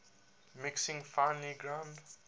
mixing finely ground